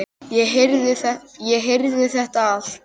Ég heyrði þetta allt.